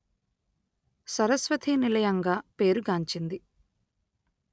సరస్వతి నిలయంగా పేరు గాంచింది